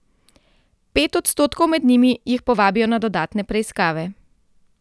Pet odstotkov med njimi jih povabijo na dodatne preiskave.